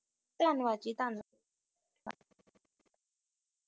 ਧੰਨਵਾਦ ਜੀ, ਧੰਨ